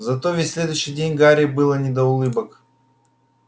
зато весь следующий день гарри было не до улыбок